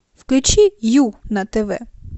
включи ю на тв